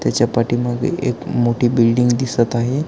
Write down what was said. त्याच्या पाठीमागे एक बिल्डिंग दिसत आहे.